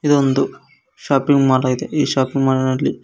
ಇದೊಂದು shopping mall ಆಗಿದೆ ಈ ಷಾಪಿಂಗ್ ಮಾಲ್ ನಲ್ಲಿ--